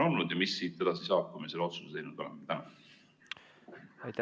Ja mis siit edasi saab, kui me selle otsuse teinud oleme?